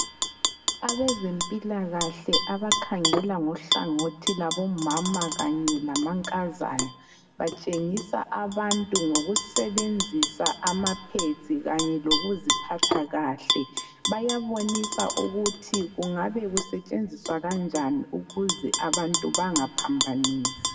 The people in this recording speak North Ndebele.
Abazempilakahle abakhangela ngohlangothi lwabomama kanye lamankazana batshengisa abantu ngokusebenzisa ama pads kanye lokuziphatha kahle. Bayabonisa ukuthi kungabe kusetshenziswa kanjani ukuze abantu bangaphambanisi.